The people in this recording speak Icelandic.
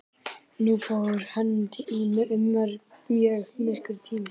Nú fór í hönd mjög myrkur tími.